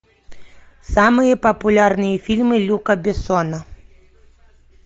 самые популярные фильмы люка бессона